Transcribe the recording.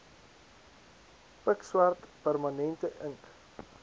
pikswart permanente ink